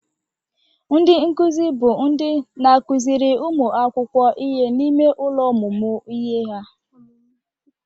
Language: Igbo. Ndị nkụzị bụ ndị n'akụzịrị ụmụ akwụkwọ ihe n'ime ụlọ ọmụmụ ihe ha.